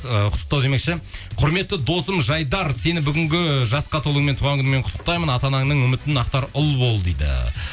ы құттықтау демекші құрметті досым жайдар сені бүгінгі жасқа толумен туған күніңмен құттықтаймын ата анаңның үмітін ақтар ұл бол дейді